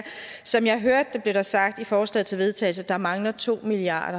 som jeg hørte det blev det sagt i forslaget til vedtagelse at der mangler to milliard